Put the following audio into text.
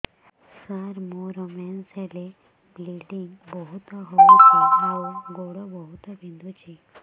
ସାର ମୋର ମେନ୍ସେସ ହେଲେ ବ୍ଲିଡ଼ିଙ୍ଗ ବହୁତ ହଉଚି ଆଉ ଗୋଡ ବହୁତ ବିନ୍ଧୁଚି